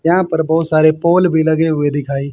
यहां पर बहोत सारे पोल भी लगे हुए दिखाई--